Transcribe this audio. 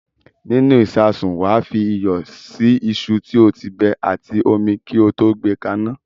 Nínú ìṣasùn, wà á fi iyọ̀ sí iṣu tí o ti bẹ àti omi kí o tó gbé ka iná.